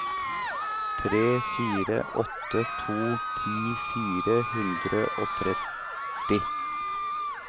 tre fire åtte to ti fire hundre og tretti